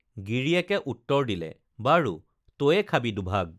গিৰিয়েকে উত্তৰ দিলে বাৰু তয়ে খাবি দুভাগ